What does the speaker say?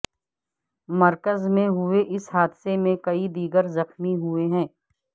مرکز میں ہوئے اس حادثہ میں کئی دیگر زخمی ہوئے ہیں